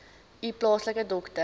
u plaaslike dokter